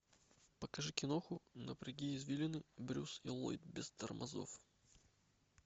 покажи киноху напряги извилины брюс и ллойд без тормозов